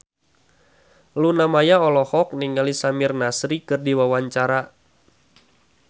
Luna Maya olohok ningali Samir Nasri keur diwawancara